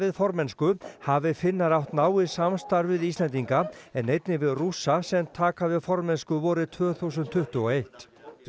formennsku hafi Finnar átt náið samstarf við Íslendinga en einnig við Rússa sem taka við formennsku vorið tvö þúsund tuttugu og eitt